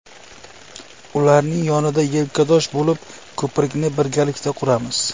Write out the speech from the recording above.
Ularning yonida yelkadosh bo‘lib, ko‘prikni birgalikda quramiz”.